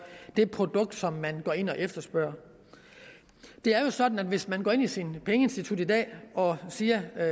det produkt som man går ind og efterspørger det er jo sådan at hvis man går ind i sit pengeinstitut i dag og siger at